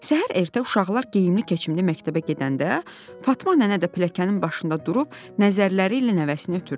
Səhər ertə uşaqlar geyimli keçimli məktəbə gedəndə Fatma nənə də pilləkənin başında durub nəzərlərilə nəvəsini ötürdü.